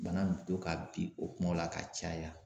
Bana bɛ to ka bin o kumaw la ka caya.